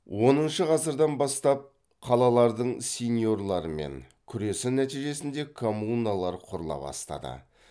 оныншы ғасырдан бастап қалалардың сеньорлармен күресі нәтижесінде коммуналар құрыла бастады